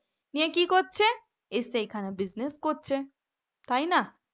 নিয়ে কি করছে নিয়ে এসে এখানে business করছে তাই না?